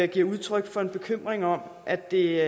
giver udtryk for en bekymring om at det